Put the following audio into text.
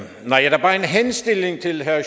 det herre